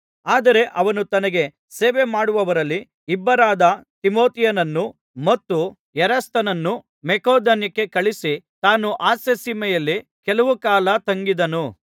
ಆದರೆ ಅವನು ತನಗೆ ಸೇವೆಮಾಡುವವರಲ್ಲಿ ಇಬ್ಬರಾದ ತಿಮೊಥೆಯನನ್ನೂ ಮತ್ತು ಎರಸ್ತನನ್ನೂ ಮಕೆದೋನ್ಯಕ್ಕೆ ಕಳುಹಿಸಿ ತಾನು ಆಸ್ಯಸೀಮೆಯಲ್ಲಿ ಕೆಲವು ಕಾಲ ತಂಗಿದನು